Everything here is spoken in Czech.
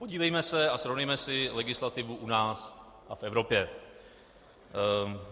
Podívejme se a srovnejme si legislativu u nás a v Evropě.